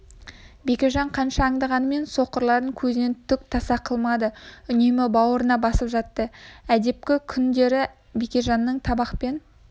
бекежан қанша аңдығанымен соқырларын көзінен түк таса қылмады үнемі бауырына басып жатты әдепкі күңдері бекежанның табақпен